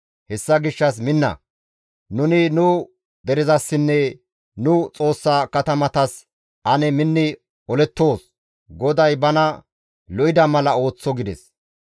Hessa gishshas minna! Nuni nu derezasinne nu Xoossa katamatas ane minni olettoos; GODAY bana lo7ida mala ooththo» gides.